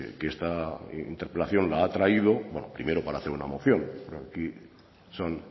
que esta interpelación la ha traído primero para hacer una moción aquí son